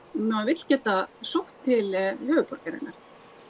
maður vill geta sótt til höfuðborgarinnar